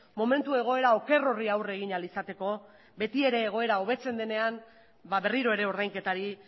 momentu egoera oker horri aurre egin ahal izateko betiere egoera hobetzen denean berriro ere ordainketari